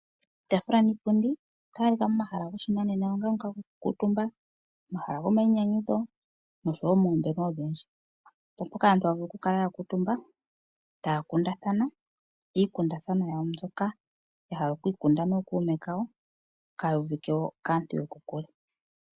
Iitaafula niipundi otayi adhika pomahala goshinanena onga ngo gokukuutumba, omahala gomayinyanyudho noshowo moombelewa odhindji. Opo mpoka aantu haa vulu okukala ya kuutumba, taya kundathana iikundathanwa yawo mbyoka ya hala okwi ikunda nookuume kawo kaayuvike wo kaantu yokokule.